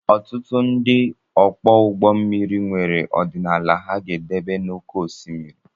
Ọtụtụ ndị ọkwọ ụgbọ mmiri nwere ọdịnala ha ga-edebe n'oké osimiri